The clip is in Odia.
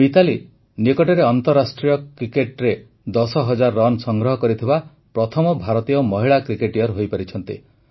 ମିତାଲି ନିକଟରେ ଅନ୍ତରାଷ୍ଟ୍ରୀୟ କ୍ରିକେଟରେ ୧୦ ହଜାର ରନ୍ ସଂଗ୍ରହ କରିଥିବା ପ୍ରଥମ ଭାରତୀୟ ମହିଳା କ୍ରିକେଟର ହୋଇପାରିଛନ୍ତି